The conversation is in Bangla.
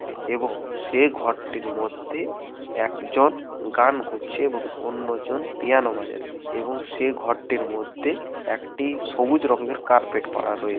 এবং সে ঘরটির মধ্যে একজন গান করছে এবং অন্যজন পিয়ানো বাজায় এবং সে ঘরটির মধ্যে একটি সবুজ রঙের কার্পেট পারা রয়েছে।